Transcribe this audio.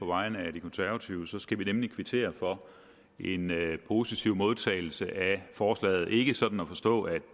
på vegne af de konservative tale skal vi nemlig kvittere for en positiv modtagelse af forslaget ikke sådan at forstå at